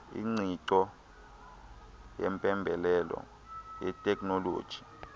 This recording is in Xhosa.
ingqiqo yempembelelo yeteknoloji